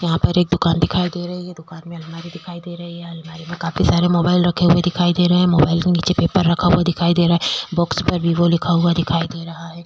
यहाँ पर एक दुकान दिखाई दे रही है। दुकान में अलमारी दिखाई दे रही है। अलमारी में काफी सारे मोबाइल रखे हुए दिखाई दे रहे हैं। मोबाइल के नीचे पेपर रखा हुआ दिखाई दे रहा है। बॉक्स पर वीवो लगा हुआ दिखाई दे रहा है।